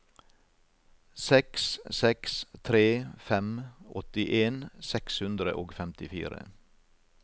seks seks tre fem åttien seks hundre og femtifire